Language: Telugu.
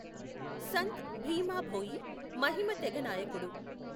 సంత్ భీమ భోయి మహిమ తెగ నాయకుడు.